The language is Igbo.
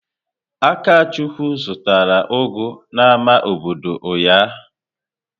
Akachukwu zụtara ugu n'ámá obodo ụnyahụ.